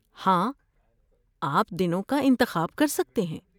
ہاں، آپ دنوں کا انتخاب کر سکتے ہیں۔